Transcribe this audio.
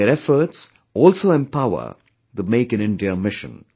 Their efforts also empower the 'Make in India' mission